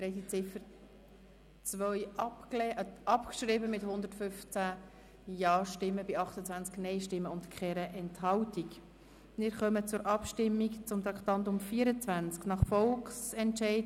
Sie haben Ziffer 2 mit 115 Ja- gegen 28 Nein-Stimmen bei 0 Enthaltungen abgeschrieben.